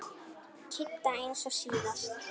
Kidda eins og síðast.